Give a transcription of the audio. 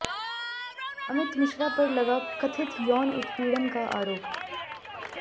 अमित मिश्रा पर लगा कथित यौन उत्पीड़न का आरोप